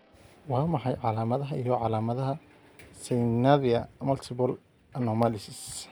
Waa maxay calaamadaha iyo calaamadaha Syngnathia multiple anomalies?